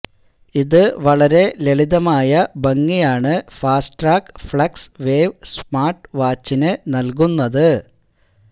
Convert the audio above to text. ഇത് വളരെ ലളിതമായ ഭംഗിയാണ് ഫാസ്റ്റ്ട്രാക്ക് ഫ്ളക്സ് വേവ് സ്മാര്ട്ട് വാച്ചിനു നല്കുന്നത്